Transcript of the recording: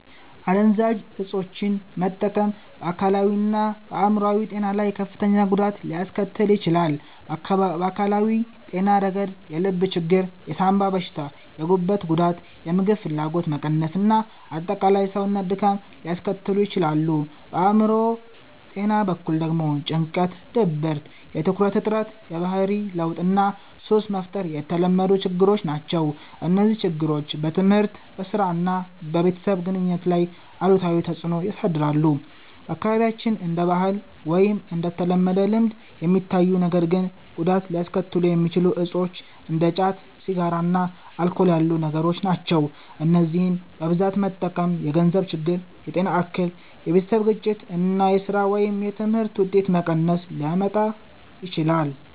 **"አደንዛዥ እፆችን መጠቀም በአካላዊና በአእምሮአዊ ጤና ላይ ከፍተኛ ጉዳት ሊያስከትል ይችላል። በአካላዊ ጤና ረገድ የልብ ችግር፣ የሳንባ በሽታ፣ የጉበት ጉዳት፣ የምግብ ፍላጎት መቀነስ እና አጠቃላይ የሰውነት ድካም ሊያስከትሉ ይችላሉ። በአእምሮ ጤና በኩል ደግሞ ጭንቀት፣ ድብርት፣ የትኩረት እጥረት፣ የባህሪ ለውጥ እና ሱስ መፍጠር የተለመዱ ችግሮች ናቸው። እነዚህ ችግሮች በትምህርት፣ በሥራ እና በቤተሰብ ግንኙነት ላይም አሉታዊ ተጽዕኖ ያሳድራሉ። በአካባቢያችን እንደ ባህል ወይም እንደ ተለመደ ልምድ የሚታዩ ነገር ግን ጉዳት ሊያስከትሉ የሚችሉ እፆች እንደ ጫት፣ ሲጋራ እና አልኮል ያሉ ነገሮች ናቸው። እነዚህን በብዛት መጠቀም የገንዘብ ችግር፣ የጤና እክል፣ የቤተሰብ ግጭት እና የሥራ ወይም የትምህርት ውጤት መቀነስ ሊያመጣ ይችላል።